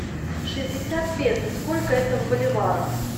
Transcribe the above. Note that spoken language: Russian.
шестьдесят песо сколько это в боливарах